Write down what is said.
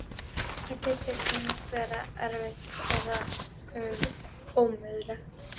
Það getur ýmist verið erfitt eða ómögulegt.